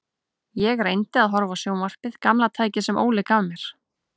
Ég reyndi að horfa á sjónvarpið, gamla tækið sem Óli gaf mér.